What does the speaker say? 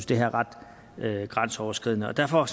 det her er ret grænseoverskridende derfor